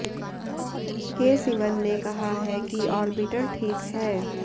के सिवन ने कहा है कि ऑर्बिटर ठीक है